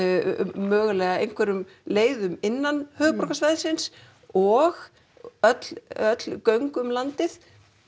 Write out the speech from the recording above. mögulega einhverjum leiðum innan höfuðborgarsvæðisins og öll öll göng um landið